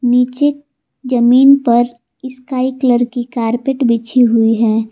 नीचे जमीन पर स्काई कलर की कारपेट बिछी हुई है।